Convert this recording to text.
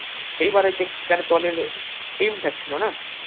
সেইবারে তে KKR দলের team টা ছিল না